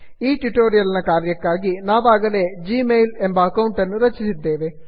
ಈ ಟ್ಯುಟೋರಿಯಲ್ ನ ಕಾರ್ಯಕ್ಕಾಗಿ ನಾವಾಗಲೇ g ಮೇಲ್ ಜಿ ಮೇಲ್ ಎಂಬ ಅಕೌಂಟನ್ನು ರಚಿಸಿದ್ದೇವೆ